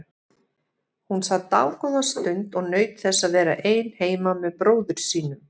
Hún sat dágóða stund og naut þess að vera ein heima með bróður sínum.